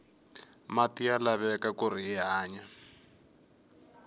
mati ya laveka kuri hi hanya